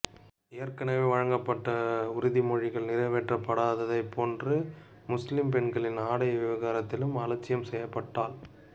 ஏற்கனவே வழங்கப்பட்ட உறுதிமொழிகள் நிறைவேற்றப்படாததைப் போன்று முஸ்லிம் பெண்களின் ஆடை விவகாரத்திலும் அலட்சியம் செய்யப்பட்டால்